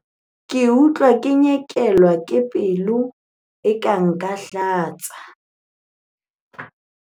ke utlwa ke nyekelwa ke dibete eka nka hlatsa